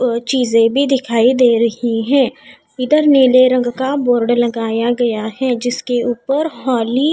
और चीजे भी दिखाई दे रही हैं इधर नीले रंग का बोर्ड लगाया गया है जिसके ऊपर हॉली--